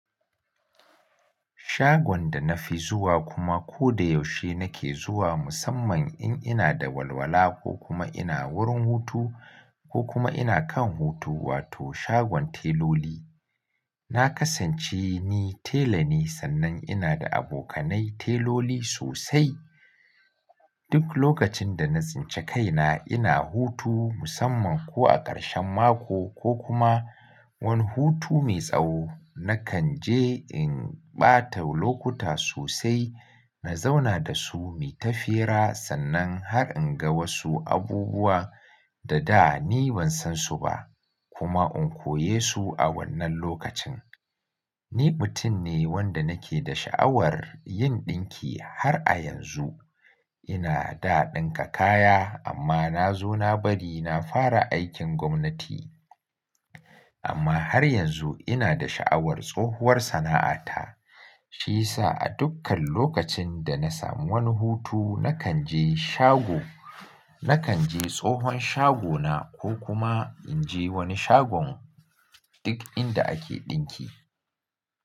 Shagon da na fi zuwa kuma ko da yaushe nake zuwa musamman in ina da walwala ko kuma ina wurin hutu ko kuma ina kan hutu wato shagon teloli. Na kasance ni tela ne sannan ina da abokanai teloli sosai. Duk lokacin da na tsince kaina ina hutu musamman ko a ƙarshen mako ko kuma wani hutu mai tsawo nakan je in ɓata lokuta sosai na zauna da su muyi ta fira sannan har in ga wasu abubuwa da da ni ban san su ba kuma in koye su a wannan lokacin. Ni mutum ne wanda nake da sha'awar yin ɗinki har a yanzu ina da ɗinka kaya amma na zo na bari na fara aikin gwamnati. Amma har yanzu ina da sha'awar tsohuwar sana'ata shi ya sa a dukkan lokacin da na samu wani hutu nakan je shago, nakan je tsohon shagona ko kuma in je wani shagon duk inda ake ɗinki.